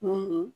Mun